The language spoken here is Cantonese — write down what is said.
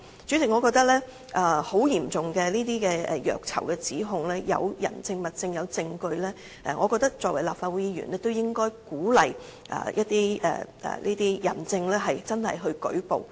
主席，我認為這些嚴重虐囚的指控，如果有人證、物證和證據，我覺得作為立法會議員，均應鼓勵這些人證舉報。